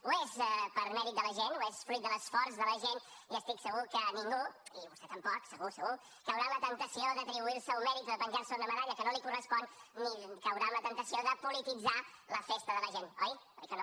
ho és per mèrit de la gent ho és fruit de l’esforç de la gent i estic segur que ningú i vostè tampoc segur segur caurà en la temptació d’atribuir se un mèrit o de penjar se una medalla que no li correspon ni caurà en la temptació de polititzar la festa de la gent oi oi que no